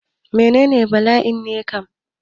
Menene bala'i ne kam?